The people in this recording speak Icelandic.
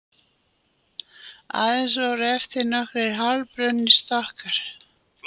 Aðeins voru eftir nokkrir hálfbrunnir stokkar